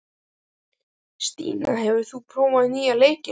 Stína, hefur þú prófað nýja leikinn?